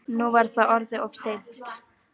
Nú var það orðið of seint.